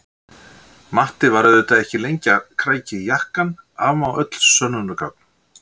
Matti var auðvitað ekki lengi að krækja í jakkann, afmá öll sönnunargögn!